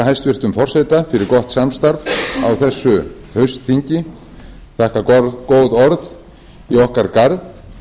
hæstvirtum forseta fyrir gott samstarf á þessu haustþingi þakka góð orð í okkar garð